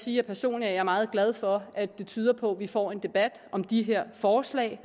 jeg personligt er meget glad for at det tyder på at vi får en debat om de her forslag